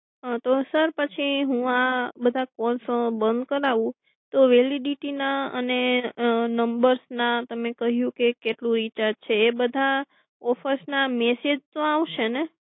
તો સર પછી હું આ બધા કોલસો બન્દ કરાવું તો વેલિડિટી ના અને અમ તમે કહ્યું કે કેટલું રિચાર્જ છે એ બધા ઓફર્સ ના મેસેજ તો આવશે ને?